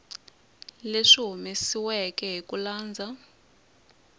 leyi humesiweke hi ku landza